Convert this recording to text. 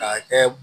K'a kɛ